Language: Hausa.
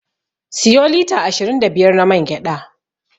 Siyo lita ashirin da biyar na man gyaɗa.